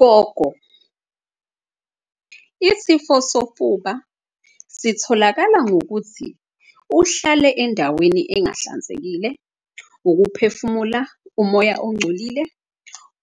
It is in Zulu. Gogo, isifo sofuba sitholakala ngokuthi uhlale endaweni engahlanzekile, ukuphefumula umoya ongcolile.